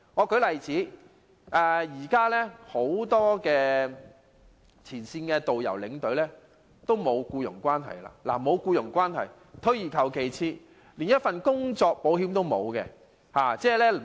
舉例而言，現時很多前線的導遊和領隊與旅行社沒有僱傭關係，換句話說是連工作保險也沒有。